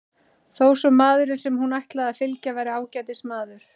Þó svo maðurinn sem hún ætlaði að fylgja væri ágætis maður.